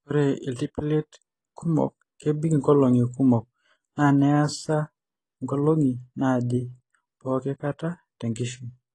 Ore iltipilit kumok kebik inkolong'i kumok naa neasa inkolong'i naaje pooki kata tenkishui.